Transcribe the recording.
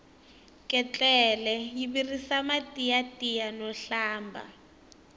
ketlele yi virisa mati ya tiya no hlamba